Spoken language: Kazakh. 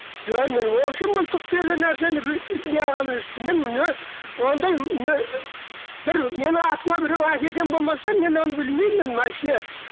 жоқ мен общем мылтық деген нәрсені неғылған емеспін мен ондай бір менің атыма біреу әкелген болмаса мен оны білмеймін машине